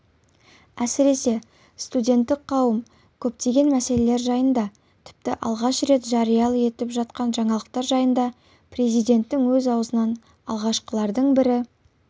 әсіресе студенттік қауым көптеген мәселелер жайында тіпті алғаш жария етіліп жатқан жаңалықтар жайында президенттің өз аузынан алғашқылардың бірі